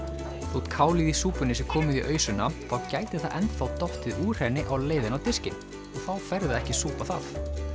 þótt kálið í súpunni sé komið í ausuna þá gæti það enn þá dottið úr henni á leiðinni á diskinn og þá færðu ekki að súpa það